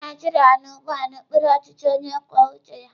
Ndị Naijiria nọ ugbu a n'okpuru ọchịchị onye kwuo uche ya.